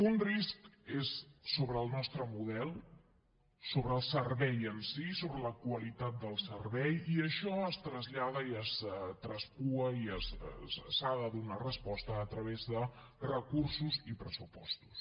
un risc és sobre el nostre model sobre el servei en si sobre la qualitat del servei i això es trasllada i es traspua i s’hi ha de donar resposta a través de recursos i pressupostos